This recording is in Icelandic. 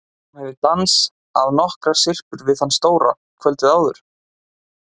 Hún hafði dans- að nokkrar syrpur við þann stóra kvöldið áður.